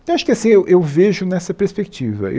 Então, acho que, assim, eu eu vejo nessa perspectiva.